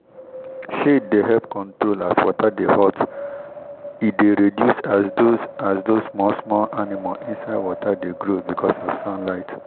shade dey help control as water de hot e de reduce as those as those smalll small animal inside water de grow beacuse of sunlight